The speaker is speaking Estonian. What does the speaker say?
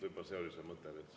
Võib-olla see oli see mõte.